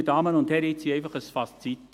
Meine Damen und Herren, ich ziehe ein Fazit: